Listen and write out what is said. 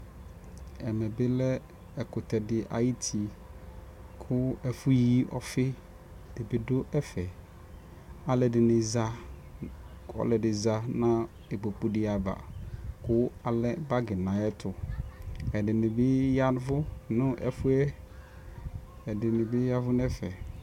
Ɛmɛ bi lɛ ɛkʋtɛ di ayuti kʋ ɛfʋyi ɔfi di bi dʋ ɛfɛ Alʋɛdini za, kʋ ɔlɔdi za nʋ ikpoku di ava kʋ alɛ bagi nʋ ayɛtʋ Ɛdini bi yavʋ nʋ ɛfuɛ, ɛdini bi yavʋ nʋ ɛfɛ